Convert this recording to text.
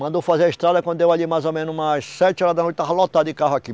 Mandou fazer a estrada quando deu ali mais ou menos umas sete horas da noite, estava lotado de carro aqui.